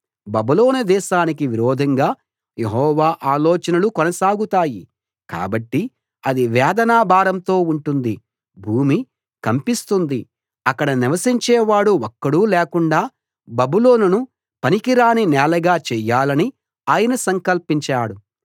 బబులోను దేశానికి విరోధంగా యెహోవా ఆలోచనలు కొనసాగుతాయి కాబట్టి అది వేదన భారంతో ఉంటుంది భూమి కంపిస్తుంది అక్కడ నివసించే వాడు ఒక్కడూ లేకుండా బబులోనును పనికిరాని నేలగా చేయాలని ఆయన సంకల్పించాడు